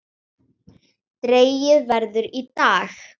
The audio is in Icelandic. Dregið verður í dag.